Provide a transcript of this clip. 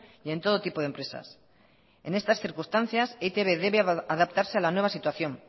y en todo tipo de empresas en estas circunstancias e i te be debe adaptarse a la nueva situación